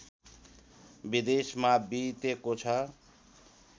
विदेशमा बितेको छ।